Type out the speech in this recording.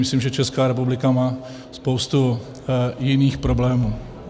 Myslím, že Česká republika má spoustu jiných problémů.